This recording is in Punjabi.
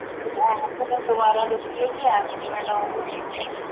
ਦੁਬਾਰਾ sir ਦੁਬਾਰਾ ਦੱਸਿਓ ਜੀ app ਕਿਵੇਂ Download ਹੋਊਗਾ